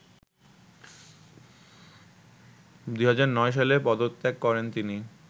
২০০৯ সালে পদত্যাগ করেন তিনি